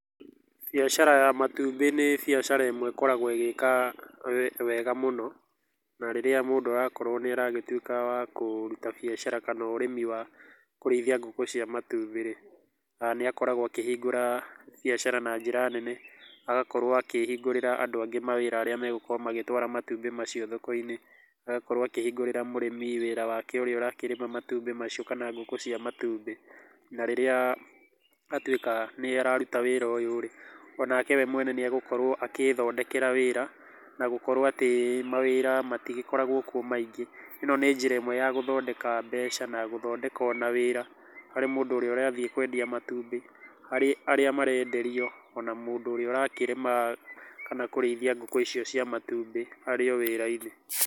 Biacara ya matũmbĩ nĩ biacara ĩmwe ĩkoragwo ĩgĩ ĩka wega mũno, na rĩrĩa mũndũ arakorwo nĩ aragĩtũĩka kũrũta bĩashara kana ũrĩmĩ wa kũreĩthĩa gũkũ cĩa matũmbĩ rĩ, nĩakoragwo akĩhĩngũra biacara na njĩra nene, agakorwo akĩhingũrĩra andũ angĩ mawĩra arĩa magũkorwo magĩtwara matũmbĩ macĩo thoko inĩ, agakorwo akĩhingũrĩra mũrĩmĩ wĩra wake ũrĩa ũrakĩrĩma matũmbĩ macio kana gũkũ cia matũmbĩ na rĩrĩa atũĩka nĩararũta wĩra ũyũ, onake we mwene nĩ agũkorwo agĩ thodekera wĩra na gũkorwo atĩ mawĩra matigĩkorwo kũo maĩngĩ. ĩno nĩ jĩra ĩmwe ya kũthondeka beca na gũthodeka ona wĩra harĩ mũndũ ũrĩa ũrathĩe kũendĩa matũmbĩ, harĩ arĩa maraederĩo ona mũndũ ũrĩa ũrakĩrĩma kana kũrĩthĩa gũkũ ĩcĩo cĩa matũmbĩ arĩo wĩra inĩ.